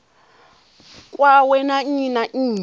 kwawe na nnyi na nnyi